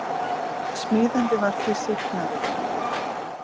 Smíðandi var því sýknaður